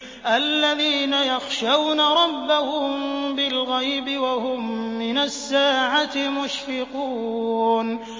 الَّذِينَ يَخْشَوْنَ رَبَّهُم بِالْغَيْبِ وَهُم مِّنَ السَّاعَةِ مُشْفِقُونَ